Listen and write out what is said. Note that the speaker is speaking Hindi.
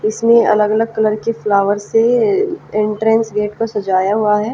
इसमें अलग अलग कलर की फ्लावर से एंट्रेंस गेट को सजाया हुवा हैं।